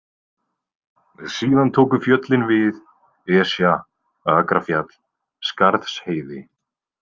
Síðan tóku fjöllin við, Esja, Akrafjall, Skarðsheiði.